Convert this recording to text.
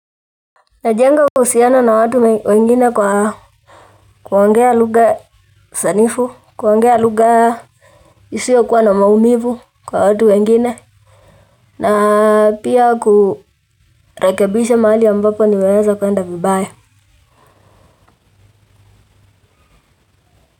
Najenga uhusiano na watu wengine kwa, kuongea lugha sanifu, kuongea lugha isiyokuwa na maumivu kwa watu wengine. Na pia kurekabisha mahali ambapo nimeweza kuenda vibaya.